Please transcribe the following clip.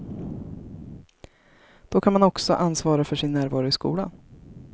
Då kan man också ansvara för sin närvaro i skolan.